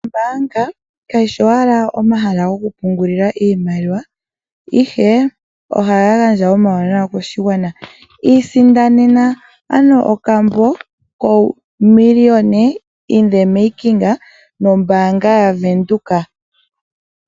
Ombanga kayishi owala omahala gokupungulila iimaliwa ihe ohaya gandja omauwanawa kaakwashigwana. Isindanena okambo kokuninga omiliyona nombaanga yaVenduka.